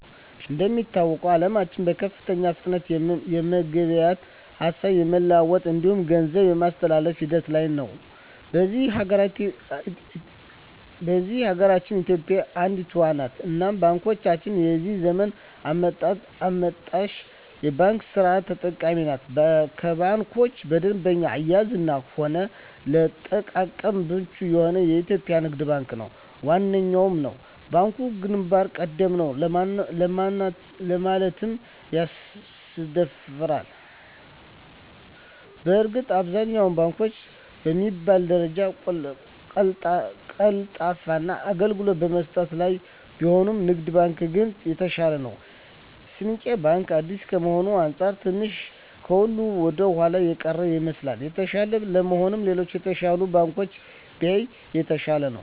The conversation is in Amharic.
እንደሚታወቀዉ አለማችን በከፍተኛ ፍጥነት የመገበያየት፣ ሀሳብ የመለዋወጥ እንዲሁም ገንዘብ የማስተላፍ ሂደት ላይ ነዉ። በዚህ ሀገራችን ኢትዮጵያ አንዷ ነት እናም ባንኮቻችንም የዚህ ዘመን አመጣሽ የባንክ ስርት ተጠቃሚ ናት ከባንኮች በደንበኛ አያያዝም ሆነ ለአጠቃቀም ምቹ የሆነዉ የኢትዮጵያ ንግድ ባንክ ዋነኛዉ ነዉ። ባንኩ ግንባር ቀደም ነዉ ለማለትም ያስደፍራል በእርግጥ አብዛኛወቹ ባንኮች በሚባል ደረጃ ቀልጣፋ አገልግሎት በመስጠት ላይ ቢሆኑም ንግድ ባንክ ግን የተሻለ ነዉ። ስንቄ ባንክ አዲስ ከመሆኑ አንፃር ትንሽ ከሁሉ ወደኋላ የቀረ ይመስላል። የተሻለ ለመሆን ሌሎች የተሻሉ ባንኮችን ቢያይ የተሻለ ነዉ።